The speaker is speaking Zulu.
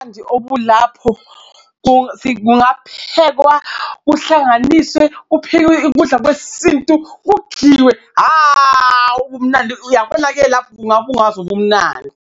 Obulapho kungaphekwa, kuhlanganiswe kuphekwe ukudla kwesintu kudliwe, hhawu. Umnandi uyabonake lapho kungaba ungazi ubumnandi.